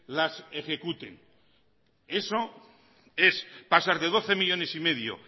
las ejecuten eso es pasar de doce millónes y medio